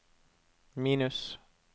minus